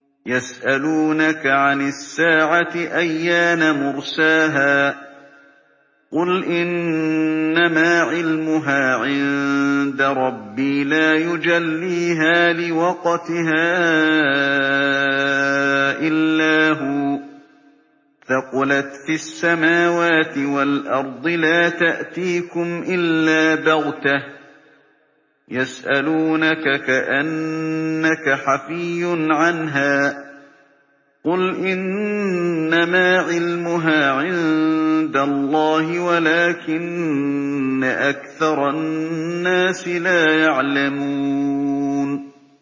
يَسْأَلُونَكَ عَنِ السَّاعَةِ أَيَّانَ مُرْسَاهَا ۖ قُلْ إِنَّمَا عِلْمُهَا عِندَ رَبِّي ۖ لَا يُجَلِّيهَا لِوَقْتِهَا إِلَّا هُوَ ۚ ثَقُلَتْ فِي السَّمَاوَاتِ وَالْأَرْضِ ۚ لَا تَأْتِيكُمْ إِلَّا بَغْتَةً ۗ يَسْأَلُونَكَ كَأَنَّكَ حَفِيٌّ عَنْهَا ۖ قُلْ إِنَّمَا عِلْمُهَا عِندَ اللَّهِ وَلَٰكِنَّ أَكْثَرَ النَّاسِ لَا يَعْلَمُونَ